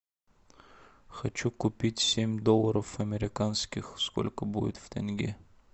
хочу купить семь долларов американских сколько будет в тенге